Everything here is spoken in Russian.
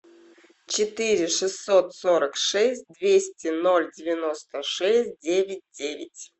четыре шестьсот сорок шесть двести ноль девяносто шесть девять девять